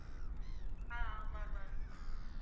அஹ் ஆமா ma'am